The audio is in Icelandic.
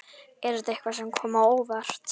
Er þetta eitthvað sem kom á óvart?